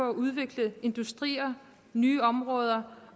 at udvikle industrier nye områder